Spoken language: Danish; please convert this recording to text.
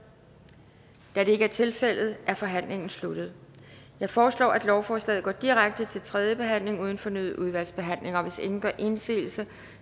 da det ikke er tilfældet er forhandlingen sluttet jeg foreslår at lovforslaget går direkte til tredje behandling uden fornyet udvalgsbehandling hvis ingen gør indsigelse